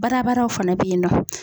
Babadaw fana bɛ yennɔ.